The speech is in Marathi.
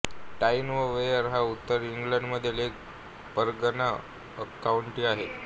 टाईन व वेयर हा उत्तर इंग्लंडमधील एक परगणा काउंटी आहे